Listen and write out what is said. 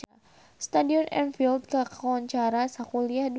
Stadion Anfield kakoncara sakuliah dunya